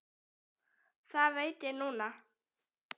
Það veit ég núna.